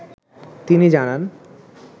তিনি জানান